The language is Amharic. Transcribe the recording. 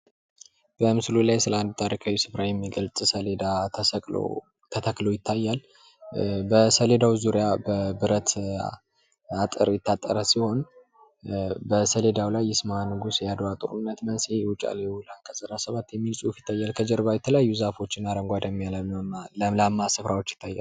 በምሥሉ ላይ ስለ አንድ ታሪካዊ ሥፍራ የሚገልጽ ሰሌዳ ተሰቅሎ ተሰቅሎ ይታያል። በሰሌዳው ዙሪያ በብረት አጥር የታጠረ ሲሆን፤ በሰሌዳው ላይ ይስማ ንጉሥ የአድዋ ጦርነት መንስኤ የውጫሌ ውል አንቀጽ አሥራ 17 የሚል ጽሑፍ ይታያል። ከጀርባ የተለያዩ ዛፎችን አረንጓዴ ለምላማ ሥፍራዎች ይታያል።